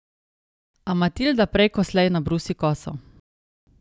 A Matilda prej ko slej nabrusi koso...